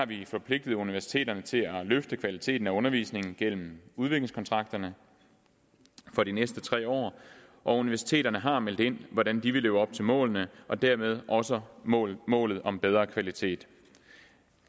vi forpligtet universiteterne til at løfte kvaliteten af undervisningen gennem udviklingskontrakterne for de næste tre år og universiteterne har meldt ind hvordan de vil leve op til målene og dermed også målet målet om bedre kvalitet